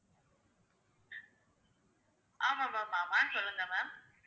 ஆமா ma'am ஆமா சொல்லுங்க ma'am